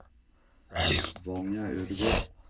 Vanja Ødegård